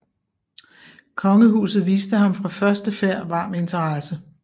Kongehuset viste ham fra første færd varm interesse